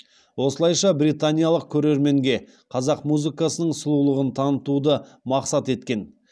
осылайша британиялық көрерменге қазақ музыкасының сұлулығын танытуды мақсат еткен